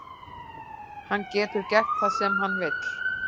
Hann getur gert það sem hann vill.